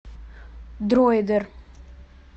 дройдер